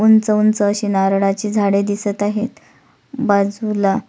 उंच उंच अशी नारळाची झाडे दिसत आहेत बाजूला--